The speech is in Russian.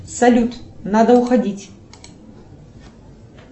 салют надо уходить